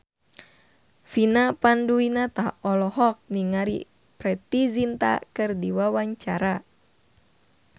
Vina Panduwinata olohok ningali Preity Zinta keur diwawancara